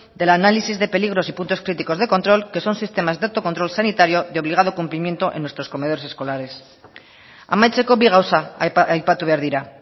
del análisis de peligros y puntos críticos de control que son sistemas de autocontrol sanitario de obligado cumplimiento en nuestros comedores escolares amaitzeko bi gauza aipatu behar dira